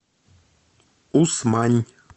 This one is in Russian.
усмань